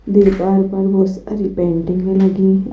दीवार पर बहुत सारी पेंटिंग भी लगी--